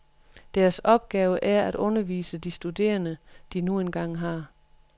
Deres opgave er at undervise de studerende, de nu engang har.